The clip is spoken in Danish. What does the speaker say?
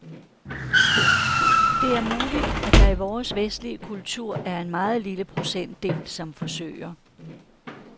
Det er muligt, at der i vores vestlige kultur er en meget lille procentdel, som forsøger.